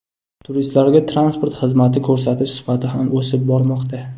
Turistlarga transport xizmati ko‘rsatish sifati ham o‘sib bormoqda.